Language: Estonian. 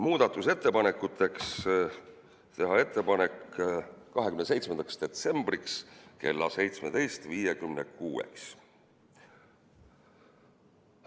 Muudatusettepanekuteks teha ettepanek 27. detsembriks kella 17.56-ks.